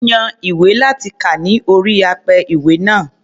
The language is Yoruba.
Ó yan ìwé láti kà ní orí apẹ-ìwé náà.